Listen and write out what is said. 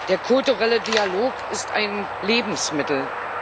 Der kulturelle Dialog ist ein Lebensmittel.